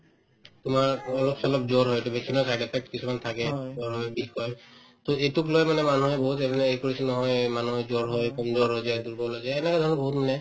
তোমাৰ অলপ-চলপ জ্বৰ হয় এইটো vaccine ৰ side effect কিছুমান থাকে জ্বৰ হয়, বিষ হয় to এইটোক লৈ মানে মানুহে বহুত কৰিছিল নহয় এই মানুহৰ জ্বৰ হয় weak হৈ যায় দুৰ্বল হৈ যায় এনেকা ধৰণৰ বহুত মানে